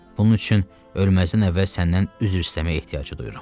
Bunun üçün ölməzdən əvvəl səndən üzr istəməyə ehtiyacı duyuram.